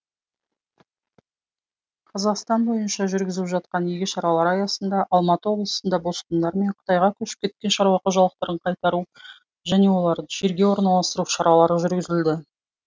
қазақстан бойынша жүргізіліп жатқан игі шаралар аясында алматы облысында босқындар мен қытайға көшіп кеткен шаруа қожалықтарын қайтару және оларды жерге орналастыру шаралары жүргізілді